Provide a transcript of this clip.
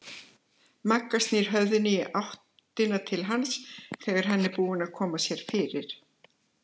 Magga snýr höfðinu í áttina til hans þegar hann er búinn að koma sér fyrir.